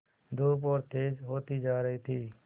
धूप और तेज होती जा रही थी